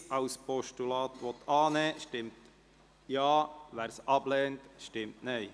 Wer Ziffer 1 als Postulat annehmen will, stimmt Ja, wer dies ablehnt, stimmt Nein.